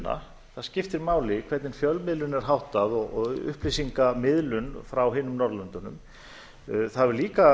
það skiptir máli hvernig fjölmiðlun er háttað og upplýsingamiðlun frá hinum norðurlöndunum það hefur líka